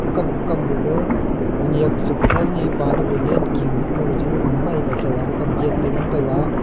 kokam kokam gaga konyak che kotho ni pa le lanking kung le ding la komai ngai taiga thakap pa gate te ngan taiga.